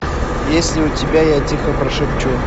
есть ли у тебя я тихо прошепчу